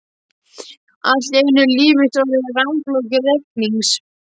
Allt í einu er líf mitt orðið rammflókið reiknings